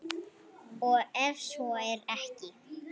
Og ef svo er ekki?